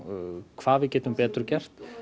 hvað við getum betur gert